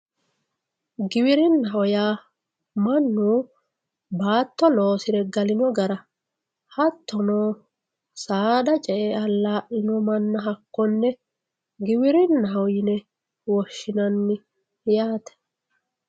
Giwirinaho yaa manu baato loosire galino gara hattono saada ce'e alalino mana hakkone giwirinaho yine woshinayi yaate